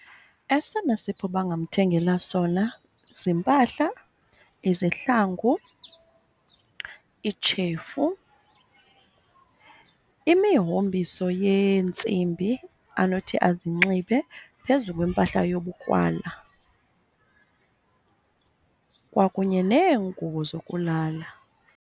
Esona sipho bangamthengela sona ziimpahla, izihlangu, iitshefu, imihombiso yeentsimbi anothi azinxibe phezu kwempahla yobukrwala, kwakunye neengubo zokulala.